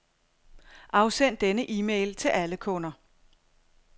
Afsend denne e-mail til alle kunder.